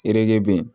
Ere be yen